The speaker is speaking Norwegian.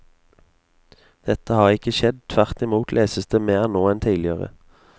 Dette har ikke skjedd, tvert imot leses det mer nå enn tidligere.